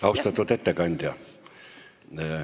Austatud ettekandja!